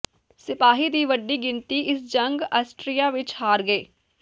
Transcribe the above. ਸਿਪਾਹੀ ਦੀ ਵੱਡੀ ਗਿਣਤੀ ਇਸ ਜੰਗ ਆਸਟਰੀਆ ਵਿੱਚ ਹਾਰ ਗਏ